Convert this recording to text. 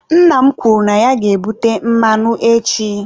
Nna m kwuru na ya ga-ebute mmanụ echi.